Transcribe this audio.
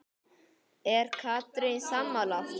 Er Katrín sammála því?